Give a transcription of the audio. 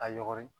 A yɔgɔri